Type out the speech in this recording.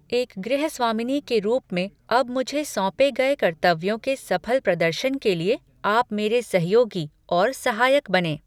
एक गृहस्वामिनी के रूप में अब मुझे सौंपे गए कर्तव्यों के सफल प्रदर्शन के लिए आप मेरे सहयोगी और सहायक बनें।